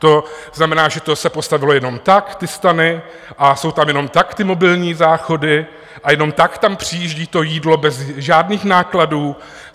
To znamená, že to se postavilo jenom tak, ty stany, a jsou tam jenom tak ty mobilní záchody a jenom tak tam přijíždí to jídlo bez žádných nákladů?